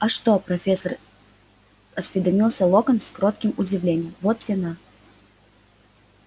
а что профессор осведомился локонс с кротким удивлением вот те на